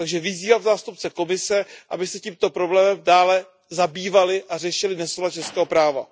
Takže vyzývám zástupce Komise, aby se tímto problémem dále zabývali a řešili nesoulad českého práva.